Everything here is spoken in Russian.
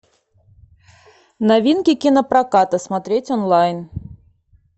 новинки кинопроката смотреть онлайн